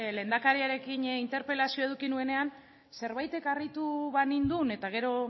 lehendakariarekin interpelazioa eduki nuenean zerbaitek harritu banindun eta gero